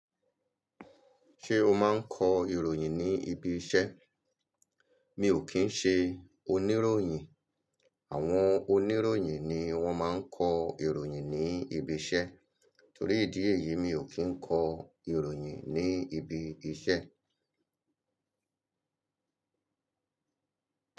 Ṣé o máa ń kọ ìròyìn ní ibi iṣẹ́? Mi ò kí ń ṣe oníròyìn. Àwọn oníròyìn ni wọ́n máa ń kọ ìròyìn ní ibi iṣẹ́. Torí ìdí èyí mi ò kí ń kọ ìròyìn ní ibi iṣẹ́.